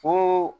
Fo